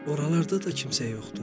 Oralarda da kimsə yoxdur.